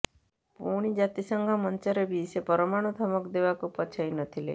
ପୁଣି ଜାତିସଂଘ ମଞ୍ଚରେ ବି ସେ ପରମାଣୁ ଧମକ ଦେବାକୁ ପଛାଇନଥିଲେ